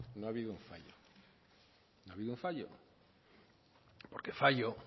no ha habido un fallo no ha habido un fallo porque fallo